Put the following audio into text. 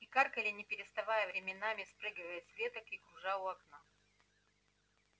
и каркали не переставая временами спрыгивая с веток и кружа у окна